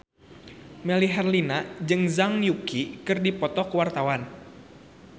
Melly Herlina jeung Zhang Yuqi keur dipoto ku wartawan